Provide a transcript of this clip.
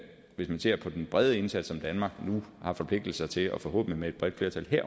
hvis man ser på den brede indsats som danmark nu har forpligtet sig til og forhåbentlig med et bredt flertal